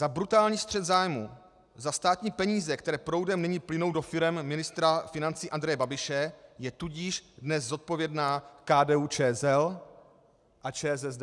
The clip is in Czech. Za brutální střet zájmů, za státní peníze, které proudem nyní plynou do firem ministra financí Andreje Babiše, je tudíž dnes zodpovědná KDU-ČSL a ČSSD.